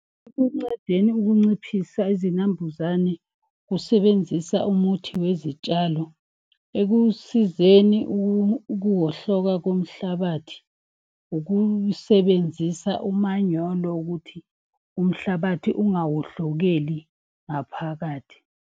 Ukunciphisa izinambuzane usebenzisa umuthi wezitshalo ekusizeni ukuwohloka komhlabathi. Ukusebenzisa umanyolo ukuthi umhlabathi ungawohlokeli ngaphakathi.